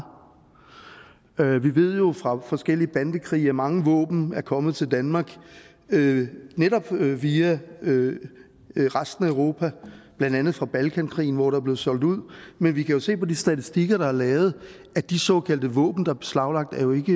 af hvad vi vi ved jo fra forskellige bandekrige at mange våben er kommet til danmark netop via resten af europa blandt andet fra balkankrigen hvor der blev solgt ud men vi kan jo se på de statistikker der er lavet at de såkaldte våben der er beslaglagt jo ikke